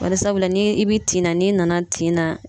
Bari sabula ni i bi tin na n'i nana tin na